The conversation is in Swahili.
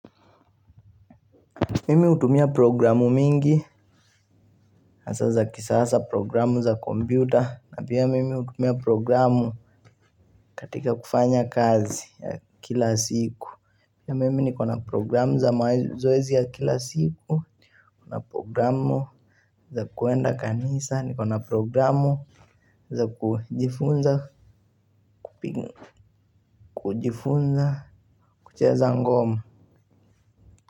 Mimi hutumia programu mingi asaza kisasa programu za kompyuta na pia mimi hutumia programu katika kufanya kazi ya kila siku. Pia mimi nikona programu za mazoezi ya kila siku, nikona programu za kuenda kanisa, nikona programu za kujifunza kucheza ngoma.